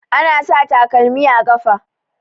Ana sa takalmi a ƙafa.